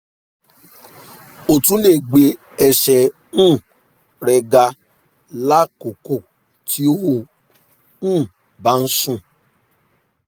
o tun le gbe ẹsẹ um rẹ ga lakoko ti o um ba sùn